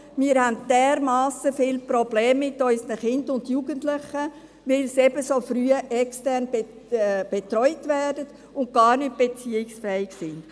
wir haben dermassen viele Probleme mit unseren Kindern und Jugendlichen – weil sie eben so früh extern betreut werden und gar nicht beziehungsfähig sind.